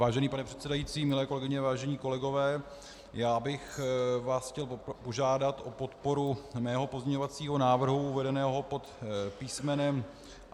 Vážený pane předsedající, milé kolegyně, vážení kolegové, já bych vás chtěl požádat o podporu mého pozměňovacího návrhu uvedeného pod písm.